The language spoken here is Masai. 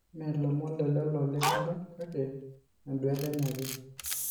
Mee lomon lelo lenkiba kake enduata enye ake.